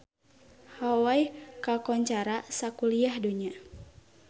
Hawai kakoncara sakuliah dunya